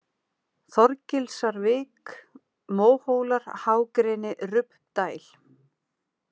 Þorgilsarvik, Móhólar, Hágreni, Rubbdæl